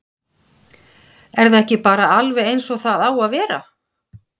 Er það ekki bara alveg eins og það á að vera?